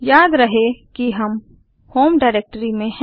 याद रहे कि हम होम डाइरेक्टरी में हैं